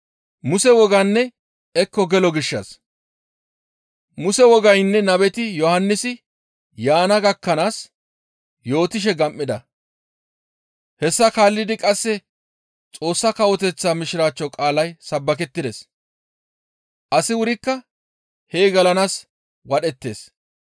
«Muse wogaynne nabeti Yohannisi yaana gakkanaas yootishe gam7ida. Hessa kaallidi qasse Xoossa Kawoteththa Mishiraachcho qaalay sabbakettides. Asi wurikka hee gelanaas wadhettees.